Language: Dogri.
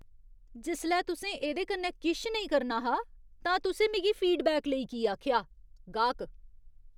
जिसलै तुसें एह्दे कन्नै किश नेईं करना हा, तां तुसें मिगी फीडबैक लेई की आखेआ? गाह्क